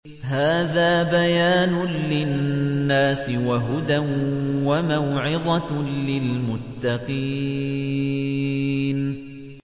هَٰذَا بَيَانٌ لِّلنَّاسِ وَهُدًى وَمَوْعِظَةٌ لِّلْمُتَّقِينَ